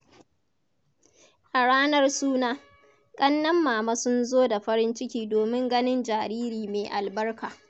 A ranar suna, ƙannen mama sun zo da farin ciki domin ganin jariri mai albarka.